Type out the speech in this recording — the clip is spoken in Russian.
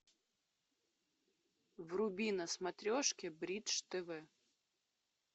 вруби на смотрешке бридж тв